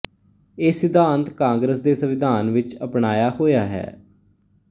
ਇਹ ਸਿਧਾਂਤ ਕਾਂਗਰਸ ਦੇ ਸੰਵਿਧਾਨ ਵਿੱਚ ਅਪਣਾਇਆ ਹੋਇਆ ਹੈ